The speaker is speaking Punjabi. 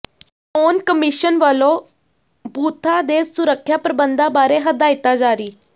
ਚੋਣ ਕਮਿਸ਼ਨ ਵਲੋਂ ਪੋਿਲੰਗ ਬੂਥਾਂ ਦੇ ਸੁਰੱਖਿਆ ਪ੍ਰਬੰਧਾਂ ਬਾਰੇ ਹਦਾਇਤਾਂ ਜਾਰੀ